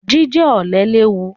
Jíjẹ ọ̀lẹ léwu.